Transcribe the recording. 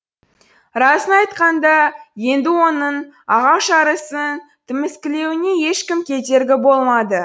расын айтқанда енді оның ағаш арасын тіміскілеуіне ешкім кедергі болмады